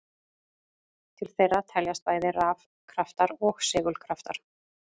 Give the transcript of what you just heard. Til þeirra teljast bæði rafkraftar og segulkraftar.